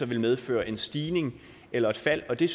vil medføre en stigning eller et fald det